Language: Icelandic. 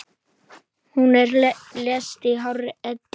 Hún lést í hárri elli.